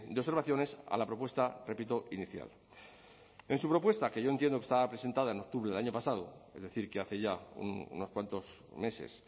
observaciones a la propuesta repito inicial en su propuesta que yo entiendo que estaba presentada en octubre del año pasado es decir que hace ya unos cuantos meses